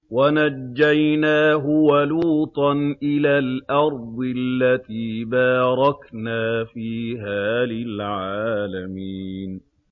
وَنَجَّيْنَاهُ وَلُوطًا إِلَى الْأَرْضِ الَّتِي بَارَكْنَا فِيهَا لِلْعَالَمِينَ